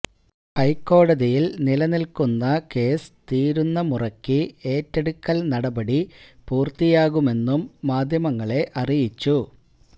ഹൈക്കോടതിയില് നിലനില്ക്കുന്ന കേസ് തീരുന്ന മുറയ്ക്ക് ഏറ്റെടുക്കല് നടപടി പൂര്ത്തിയാകുമെന്നും മാധ്യമങ്ങളെ അറിയിച്ചു